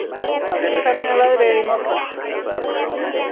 Snjáka, hvernig er veðrið á morgun?